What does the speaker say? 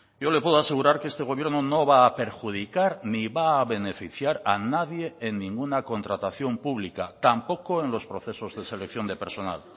yo le puedo asegurar que este gobierno no va a perjudicar ni va a beneficiar a nadie en ninguna contratación pública tampoco en los procesos de selección de personal